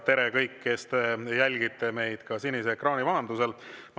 Tere, kõik, kes te jälgite meid sinise ekraani vahendusel!